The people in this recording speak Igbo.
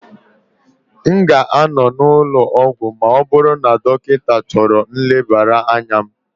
M ga-anọ n'ụlọ ọgwụ ma ọ bụrụ na dọkịta chọrọ nlebara anya m